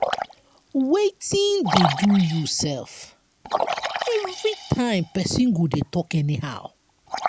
wetin dey do you sef? everytime person go dey talk anyhow.